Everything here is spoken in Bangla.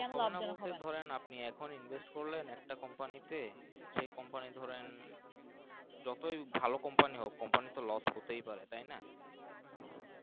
জানলাম এখন Invest করলেন একটা Compani তে সেই Compani ধরেন যতই ভালো Compani হোক Compani তো Los হতেই পারে তাই না